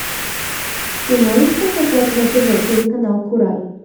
ты можешь показать на тв телеканал курай